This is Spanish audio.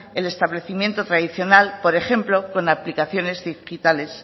el establecimiento tradicional por ejemplo con aplicaciones digitales